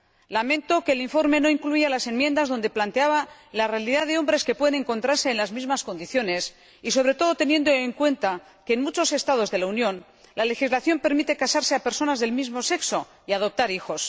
Lamento que el informe no incluya las enmiendas donde se planteaba la realidad de los hombres que pueden encontrarse en las mismas condiciones, sobre todo teniendo en cuenta que, en muchos Estados de la Unión, la legislación permite a las personas del mismo sexo casarse y adoptar hijos